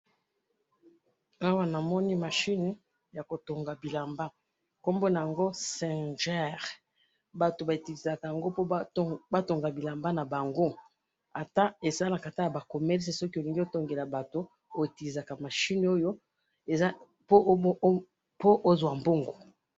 Awa na moni machine ya singer oyo batongaka bilamba po ozua mbongo.